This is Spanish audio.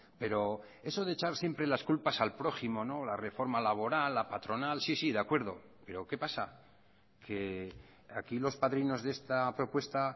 pero eso de echar siempre las culpas al prójimo la reforma laboral la patronal sí sí de acuerdo pero qué pasa que aquí los padrinos de esta propuesta